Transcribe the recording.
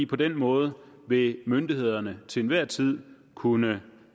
på den måde ville myndighederne til enhver tid kunne